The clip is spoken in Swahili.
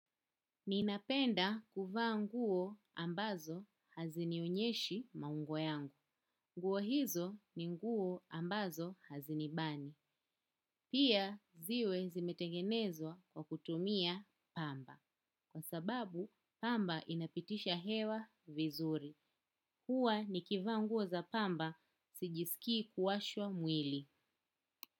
Ninapenda kuvaa nguo ambazo hazinionyeshi maungo yangu. Nguo hizo ni nguo ambazo hazinibani. Pia ziwe zimetengenezwa kwa kutumia pamba. Kwa sababu, pamba inapitisha hewa vizuri. Huwa nikivaa nguo za pamba, sijisikii kuwashwa mwili.